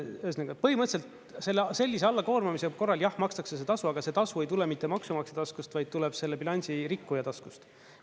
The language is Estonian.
Ühesõnaga, põhimõtteliselt sellise allakoormamise korral jah makstakse see tasu, aga see tasu ei tule mitte maksumaksja taskust, vaid tuleb selle bilansirikkuja taskust.